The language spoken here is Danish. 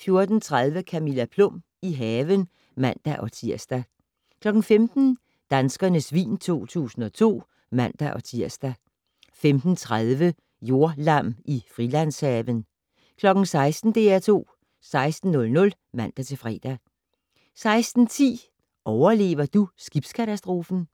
14:30: Camilla Plum - i haven (man-tir) 15:00: Danskernes vin 2002 (man-tir) 15:30: Jordlam i Frilandshaven 16:00: DR2 16:00 (man-fre) 16:10: Overlever du skibskatastrofen?